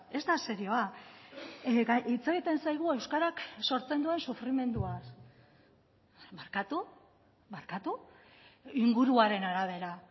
ez da serioa hitz egiten zaigu euskarak sortzen duen sufrimenduaz barkatu barkatu inguruaren arabera